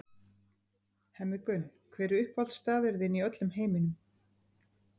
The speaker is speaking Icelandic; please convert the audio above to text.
Hemmi Gunn Hver er uppáhaldsstaðurinn þinn í öllum heiminum?